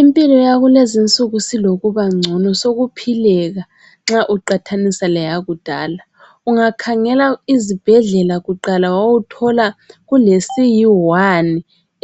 Impilo yakulezinsuku silokubangcono sokuphileka nxa uqathanisa leyakudala. Ungakhangela izibhedlela kuqala wawuthola kulesiyiwani